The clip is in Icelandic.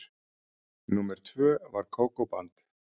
Númer tvö var Kókó-band.